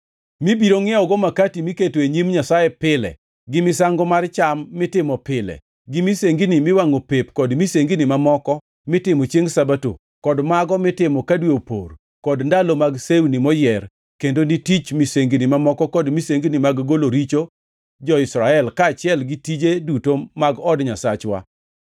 mibiro ngʼiewogo makati miketo e nyim Nyasaye pile, gi misango mar cham mitimo pile, gi misengini miwangʼo pep, kod misengini mamoko mitimo chiengʼ Sabato, kod mago mitimo ka dwe opor kod ndalo mag sewni moyier kendo ni tich misengini mamoko kod misengini mag golo richo jo-Israel kaachiel gi tije duto mag od Nyasachwa.